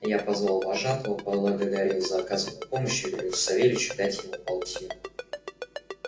я позвал вожатого поблагодарил за оказанную помочь и велел савельичу дать ему полтину